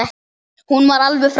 Hún var alveg frábær.